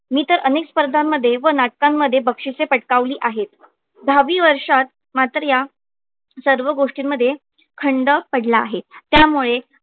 मी तर अनेक स्पर्धांमध्ये व नाटकां मध्ये बक्षिसे पटकावली आहेत. दहावी वर्षात मात्र या सर्व गोष्टींमध्ये खंड पडला आहे त्यामुळे.